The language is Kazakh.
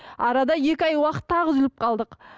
арада екі ай уақыт тағы үзіліп қалдық